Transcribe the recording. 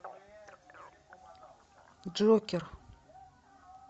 джокер